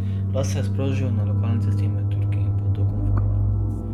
Plaz se je sprožil na lokalni cesti med Turki in Potokom v Kopru.